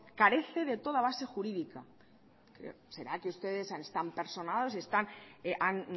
carece de toda base jurídica será que ustedes están personados y han